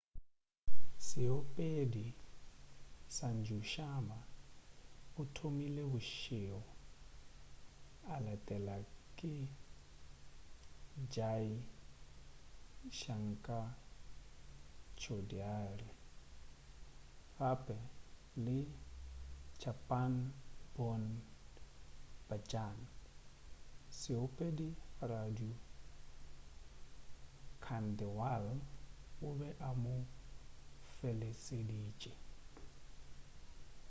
seopedi sanju sharma o thomile bošego a latela ke jai shankar choudhary gape le chhappan bhog bhajan seopedi raju khandelwal o be a mo feleseditše